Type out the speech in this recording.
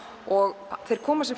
og þeir koma sér